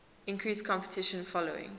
increased competition following